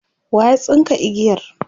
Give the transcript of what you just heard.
waya tsinka igiyar?